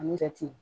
Ani jate